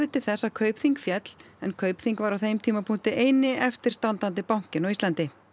til þess að Kaupþing féll en Kaupþing var á þeim tímapunkti eini eftirstandandi bankinn á Íslandi